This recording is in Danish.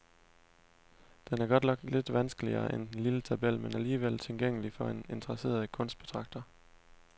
Den er godt nok lidt vanskeligere end den lille tabel, men alligevel tilgængelig for en interesseret kunstbetragter.